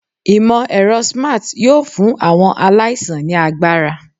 Imọ-ẹrọ Smart yoo fun awọn alaisan ni agbara